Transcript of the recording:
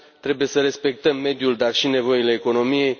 Trebuie să respectăm mediul, dar și nevoile economiei.